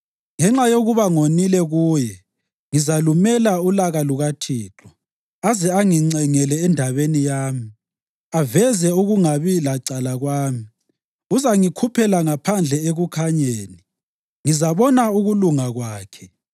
Ngenxa yokuba ngonile kuye, ngizalumela ulaka lukaThixo, aze angincengele endabeni yami, aveze ukungabi lacala kwami. Uzangikhuphela phandle ekukhanyeni; ngizabona ukulunga kwakhe.